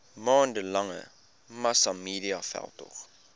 maande lange massamediaveldtog